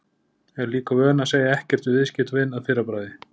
Er líka vön að segja ekkert við viðskiptavin að fyrra bragði.